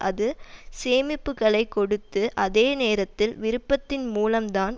அது சேமிப்புக்களை கொடுத்து அதே நேரத்தில் விருப்பத்தின் மூலம் தான்